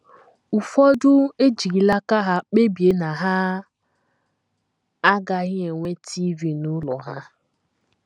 Ụfọdụ ejirila aka ha kpebie na ha agaghị enwe TV n’ụlọ ha.